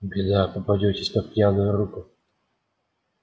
беда попадётесь под пьяную руку